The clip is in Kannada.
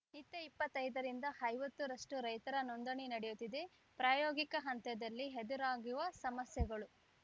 ನಿತ್ಯ ಇಪ್ಪತ್ತೈದ ರಿಂದ ಐವತ್ತು ರಷ್ಟುರೈತರ ನೋಂದಣಿ ನಡೆಯುತ್ತಿದೆ ಪ್ರಾಯೋಗಿಕ ಹಂತದಲ್ಲಿ ಎದುರಾಗುವ ಸಮಸ್ಯೆಗಳು